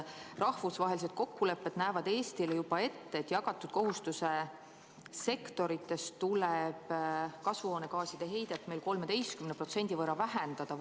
Rahvusvahelised kokkulepped näevad Eestile ette, et jagatud kohustuse sektorites tuleb kasvuhoonegaaside heidet võrreldes 2005. aastaga 13% võrra vähendada.